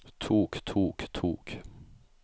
tok tok tok